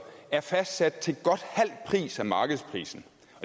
er fastsat til godt halv pris af markedsprisen